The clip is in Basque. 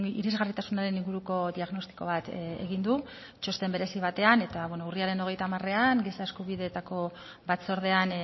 irisgarritasunaren inguruko diagnostiko bat egin du txosten berezi batean eta urriaren hogeita hamarean giza eskubideetako batzordean